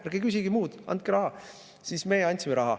Ärge küsige midagi muud, andke raha!", siis meie andsime raha.